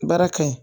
Baara ka ɲi